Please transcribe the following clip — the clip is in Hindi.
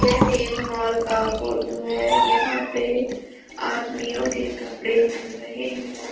यहाँ एक मॉल का फोटो है यहाँ पे आदमियों के कपड़े मिल रहे हैं।